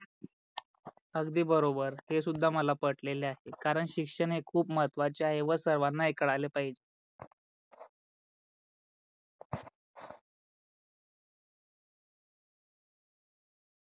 अगदी बरोबर हे सुद्धा मला पटलेल आहे कारण शिक्षण हे खूप महत्वाचे आहे व सर्वाना हे कळाले पहिजे.